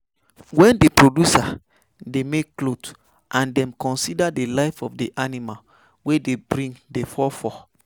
When di producer dey make cloth and dem consider di life of di animal wey dey bring di fur fur